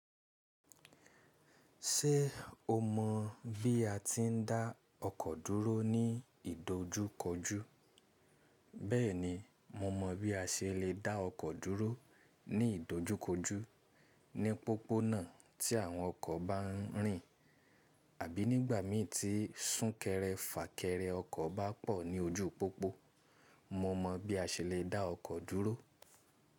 Ṣé o mọ̀ bí a ti ń dá ọkọ̀ dúró ní ìdojúkojú? Bẹ́ẹ̀ni, mo mọ̀ bí a ṣe lè dá ọkọ̀ dúró ní ìdojúkojú. Ní pópónà tí àwọn ọkọ̀ bá ń rìn àbí nígbà ḿí tí súnkẹrẹ fàkẹrẹ ọkọ̀ bá pọ̀ ní ojú pópó, mo mọ̀ bí a ṣe lè dá ọkọ̀ dúró.